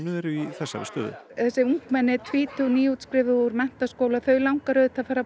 eru í þessari stöðu þessi ungmenni tvítug nýútskrifuð úr menntaskóla þau langar auðvitað bara að